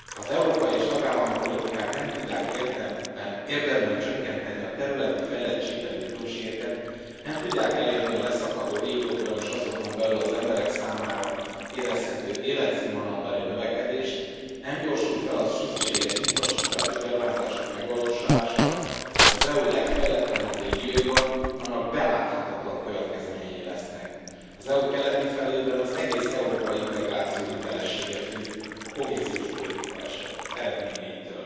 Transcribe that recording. Ha az európai és tagállami politikák nem tudják érdemben csökkenteni a területi fejlettségbeli különbségeket, nem tudják elérni a leszakadó régiókban és azokon belül az emberek számára érezhető életszínvonalbeli növekedést, nem gyorsul fel a szükséges infrastrukturális beruházások megvalósulása az EU legfejletlenebb régióiban, annak beláthatatlan következményei lesznek. Az EU keleti felében az egész európai integráció hitelessége függ a kohéziós politika eredményeitől.